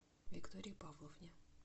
виктории павловне